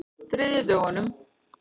þriðjudögunum